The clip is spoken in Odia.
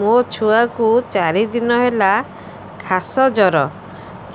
ମୋ ଛୁଆ କୁ ଚାରି ଦିନ ହେଲା ଖାସ ଜର